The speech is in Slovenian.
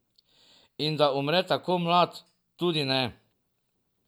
In da umre tako mlad, tudi ne.